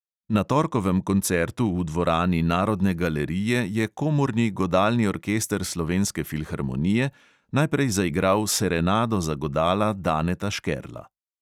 Na torkovem koncertu v dvorani narodne galerije je komorni godalni orkester slovenske filharmonije najprej zaigral serenado za godala daneta škerla.